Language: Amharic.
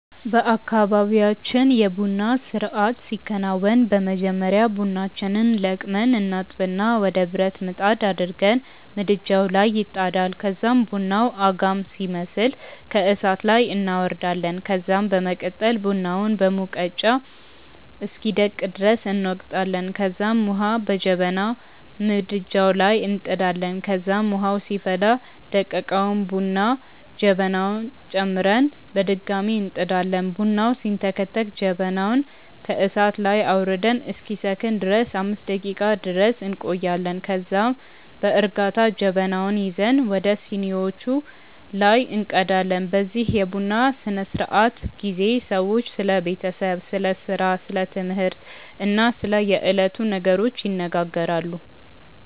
በአካባብያችን የ ቡና ስርአት ሲከናወን በመጀመሪያ ቡናችንን ለቅመን እናጥብና ወደ ብረት ምጣድ አድርገን ምድጃዉ ላይ ይጣዳል ከዛም ቡናዉ አጋም ሲመስል ከእሳት ላይ እናወርዳለን ከዛም በመቀጠል ቡናውን በሙቀጫ እስኪደቅ ድረስ እንወቅጣለንከዛም ዉሀ በጀበና ምድጃዉ ላይ እንጥዳለን ከዛም ዉሀዉ ሲፈላ ደቀቀዉን ቡና ወደ ጀበናዉ ጨምረን በድጋሚ እንጥዳለን። ቡናዉ ሲንተከተክ ጀበናዉን ከእሳት ላይ አዉርደን እስኪሰክን ድረስ 5 ደቄቃ ድረስ እንቆያለን ከዛም ከዛ በእርጋታ ጀበናዉን ይዘን ወደ ሲኒዋቹ ላይ እንቀዳለን። በዚህ የቡና ስነስርዓት ጊዜ ሰዎች ስለ ቤተሰብ፣ ስለ ስራ፣ ስለ ትምህርት እና ስለ የዕለቱ ነገሮች ይነጋገራሉ።